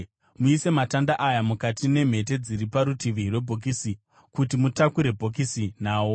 Muise matanda aya mukati memhete dziri parutivi rwebhokisi kuti mutakure bhokisi nawo.